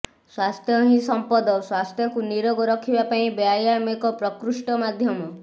ସ୍ବାସ୍ଥ୍ୟ ହିଁ ସଂପଦ ସ୍ବାସ୍ଥ୍ୟକୁ ନିରୋଗ ରଖିବା ପାଇଁ ବ୍ୟାୟାମ ଏକ ପ୍ରକୃଷ୍ଠ ମାଧ୍ୟମ